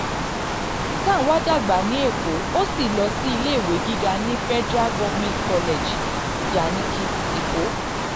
tanwa dàgbà ní èkó ó sì lọ sí iléèwé gíga ní federal government college ijanikin èkó.